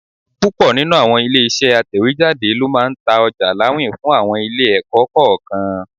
Púpọ̀ nínú àwọn ilé-iṣẹ́ atẹ̀wéjáde ló máa ń ta ọjà láwìn fún àwọn ilé-ẹ̀kọ́ kọ̀ọ̀kan.